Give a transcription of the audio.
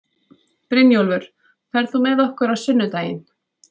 Brynjólfur, ferð þú með okkur á sunnudaginn?